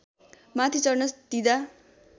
माथि चढ्न दिँदा